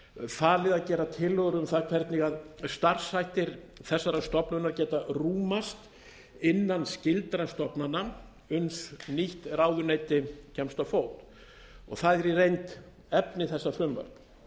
falið að gera tillögur um það hvernig starfshættir þessarar stofnunar geta rúmast innan skyldra stofnana uns nýtt ráðuneyti kemst á fót og það er í reynd efni þessa frumvarps